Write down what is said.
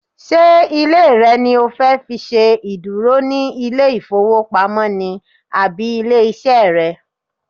Ṣé ilé rẹ ni o fẹ́ fi ṣe ìdúró ní ilé ìfowópamọ́ ni àbí ilé iṣẹ́ rẹ?